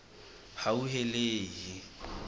hauhelele